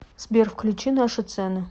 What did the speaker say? сбер включи наши цены